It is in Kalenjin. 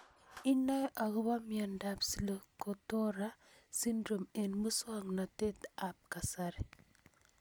inae akopo miondop Zlotogora syndrome eng' muswognatet ab kasari